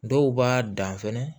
Dɔw b'a dan fɛnɛ